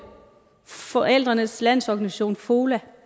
forældrenes landsorganisation fola